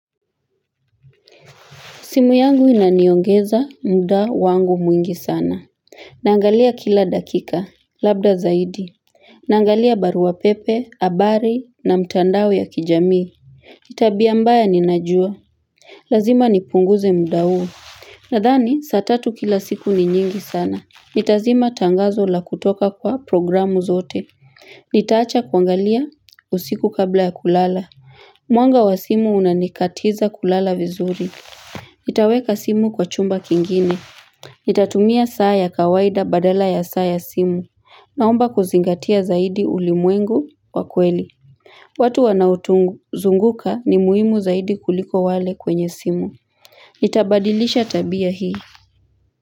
Simu yangu inaniongeza muda wangu mwingi sana. Naangalia kila dakika, labda zaidi. Naangalia barua pepe, habari na mitandao ya kijamii. Ni tabia mbaya ninajua. Lazima nipunguze muda huu. Nadhani, saa tatu kila siku ni nyingi sana. Nitazima tangazo la kutoka kwa programu zote. Nitaacha kuangalia usiku kabla ya kulala. Mwanga wa simu unanikatiza kulala vizuri. Nitaweka simu kwa chumba kingine Nitatumia saa ya kawaida badala ya saa ya simu Naomba kuzingatia zaidi ulimwengu wa kweli watu wanao tuzunguka ni muhimu zaidi kuliko wale kwenye simu. Nitabadilisha tabia hii.